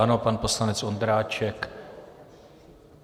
Ano, pan poslanec Ondráček.